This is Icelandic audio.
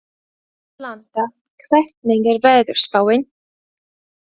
Atlanta, hvernig er veðurspáin?